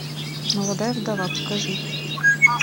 молодая вдова покажи